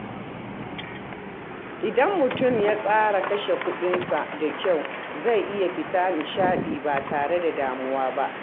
Idan mutum ya tsara kashe kuɗinsa da kyau, zai iya fita nishaɗi ba tare da damuwa ba.